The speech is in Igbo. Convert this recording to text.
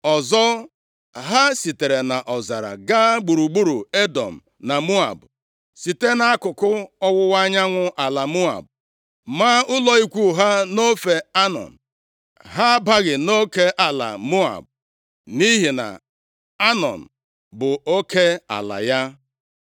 “Ọzọ, ha sitere nʼọzara gaa gburugburu Edọm na Moab, site nʼakụkụ ọwụwa anyanwụ ala Moab, maa ụlọ ikwu ha nʼofe Anọn. Ha abaghị nʼoke ala Moab, nʼihi na Anọn bụ oke ala ya.